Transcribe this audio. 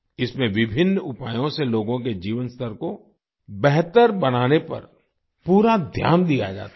इसमें विभिन्न उपायों से लोगों के जीवन स्तर को बेहतर बनाने पर पूरा ध्यान दिया जाता है